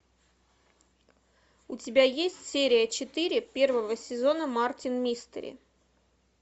у тебя есть серия четыре первого сезона мартин мистери